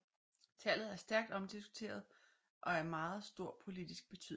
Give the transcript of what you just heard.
Tallet er stærkt omdiskuteret og af meget stor politisk betydning